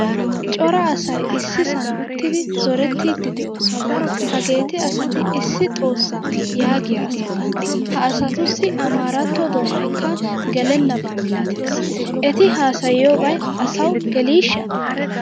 Cora asay issisan uttidi zorettidi deosona. Hageeti asati issi xoossa yaagiyaa asata. Ha asatussi amaratto doonaykka gelenaba milatees. Eti haasayiyobay asawu gelishsha?